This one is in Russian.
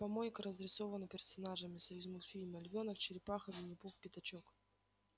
помойка разрисована персонажами союзмультфильма львёнок черепаха виннипух пятачок